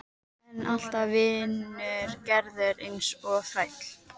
Að þar komi ekki til náð Krists ein.